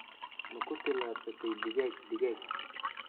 Ma ku tallaabsatay digaag digaag?